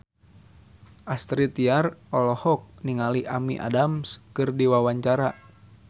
Astrid Tiar olohok ningali Amy Adams keur diwawancara